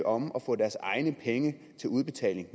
om at få deres egne penge til udbetaling